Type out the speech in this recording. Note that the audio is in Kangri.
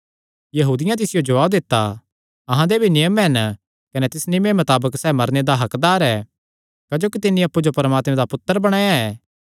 यहूदियां तिसियो जवाब दित्ता अहां दे भी नियम हन कने तिस नियमे मताबक सैह़ मरने दा हक्कदार ऐ क्जोकि तिन्नी अप्पु जो परमात्मे दा पुत्तर बणाया ऐ